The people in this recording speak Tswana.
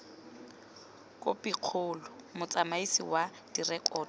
khopikgolo motsamaisi wa direkoto o